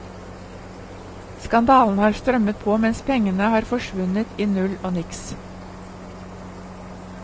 Skandalene har strømmet på mens pengene har forsvunnet i null og niks.